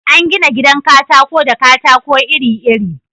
An gina gidan katako da katako iri-iri